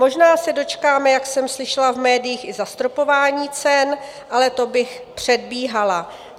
Možná se dočkáme, jak jsem slyšela v médiích, i zastropování cen, ale to bych předbíhala.